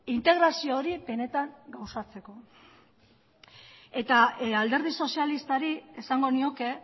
integrazio hori benetan osatzeko eta alderdi sozialistari esango nioke